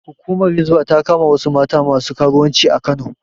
Hukumar Hisba ta kama wasu mata masu karuwanci a Kano